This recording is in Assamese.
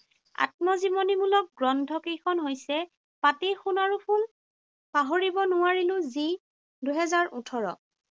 আত্মজীৱনীমূলক গ্ৰন্থ কেইখন হৈছে, পাতি সোণাৰুৰ ফুল, পাহৰিব নোৱাৰিলোঁ যি, দুহেজাৰ ওঠৰ।